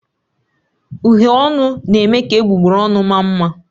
Uhiè ọnụ na eme ka egbugbere ọnụ maa mma.